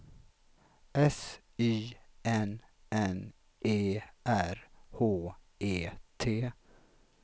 S Y N N E R H E T